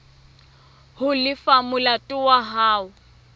ho lefa molato wa hao